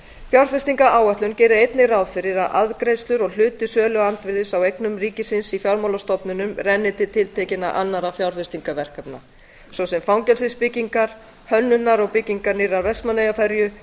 fjárfestingaráætlunin gerir einnig ráð fyrir að arðgreiðslur og hluti söluandvirðis á eignarhlutum ríkisins í fjármálastofnunum renni til tiltekinna annarra fjárfestingarverkefna svo sem fangelsisbyggingar hönnunar og byggingar nýrrar vestmannaeyjaferju